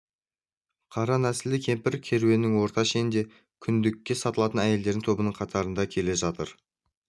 қара нәсілді кемпір керуеннің орта шенінде күндікке сатылатын әйелдер тобының қатарында келе жатыр